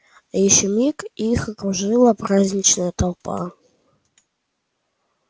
ещё миг и их окружила праздничная толпа